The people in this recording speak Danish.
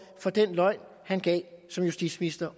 for den løgn han som justitsminister